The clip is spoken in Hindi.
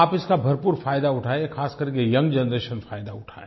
आप इसका भरपूर फायदा उठाएँ खासकर के यंग जनरेशन फायदा उठाए